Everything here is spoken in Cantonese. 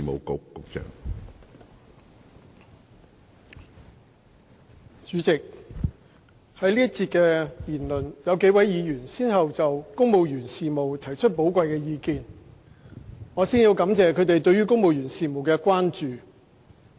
主席，在本節辯論，有幾位議員先後就公務員事務提出了寶貴的意見，我先感謝他們對公務員事務的關注。